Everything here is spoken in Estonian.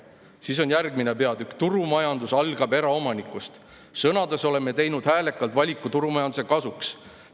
" Siis on järgmine peatükk "Turumajandus algab eraomanikust": "Sõnades oleme teinud häälekalt valiku turumajanduse kasuks.